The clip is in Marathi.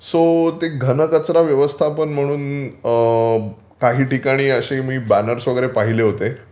तर ते घनकचरा व्यवस्थापन म्हणून काही ठिकाणी असे मी बॅनर्स वगैरे पहिले होते